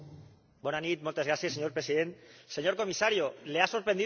Señor Presidente, señor Comisario, ¿le ha sorprendido a usted esta crisis?